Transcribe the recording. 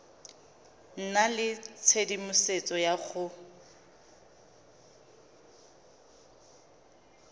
nna le tshedimosetso ya go